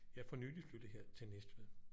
Jeg er for nyligt flyttet her til Næstved